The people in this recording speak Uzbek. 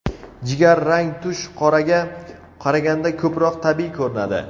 Jigar rang tush qoraga qaraganda ko‘proq tabiiy ko‘rinadi.